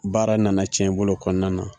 Baara nana cɛn i bolo o kɔnɔna na